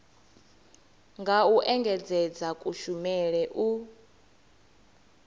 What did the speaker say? nga u engedzedza kushumele u